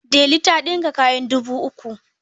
Delu ta ɗinka kayan dubu uku.